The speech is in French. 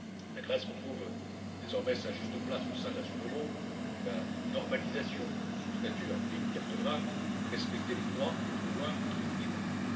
La Grèce retrouve désormais sa juste place au sein de la zone euro et la normalisation de son statut implique qu'elle devra respecter les droits et devoirs qui en découlent.